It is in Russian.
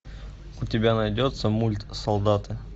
у тебя найдется мульт солдаты